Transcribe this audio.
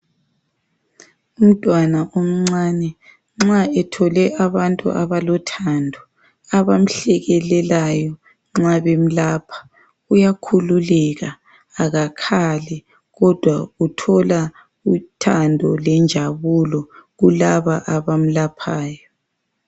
Umntwana omncane nxa ethole abantu abalothando abamhlekelelayo nxa bemlapha, uyakhululeka akakhali kodwa uthola uthando lenjabulo kulaba abamlaphayo.